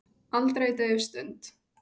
Aldrei dauf stund.